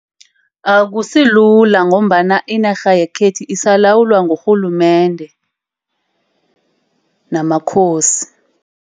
Akusilula ngombana inarha yekhethu isalawulwa ngurhulumende namakhosi.